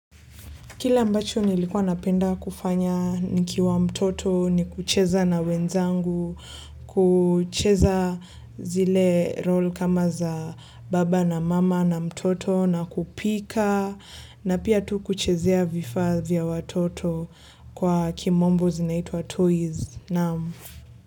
Kile ambacho nilikuwa napenda kufanya nikiwa mtoto ni kucheza na wenzangu, kucheza zile role kama za baba na mama na mtoto na kupika na pia tu kuchezea vifaa vya watoto kwa kimombo zinaitwa toys.